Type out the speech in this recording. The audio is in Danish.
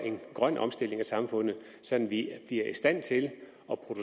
sådan